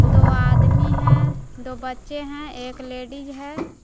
दो आदमी हैं दो बच्चे हैं एक लेडी है।